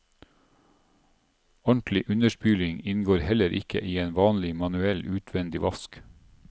Ordentlig underspyling inngår heller ikke i en vanlig, manuell utvendig vask.